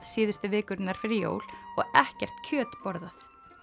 síðustu vikurnar fyrir jól og ekkert kjöt borðað